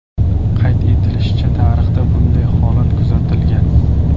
Qayd etilishicha, tarixda bunday holat kuzatilgan.